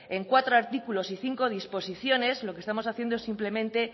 en cuatro artículos y cinco disposiciones lo que estamos haciendo es simplemente